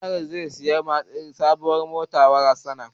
General zai saya sabon mota wa yaran sa